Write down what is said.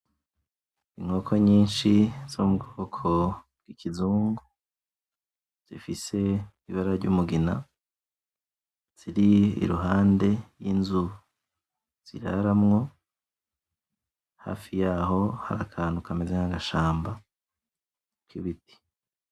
Inkoko nyinshi zo mubwoko bwikizungu zifise ibara ryumugina , ziri iruhande y'inzu ziraramwo hafi yaho hari akantu kameze nkagashamba kibiti .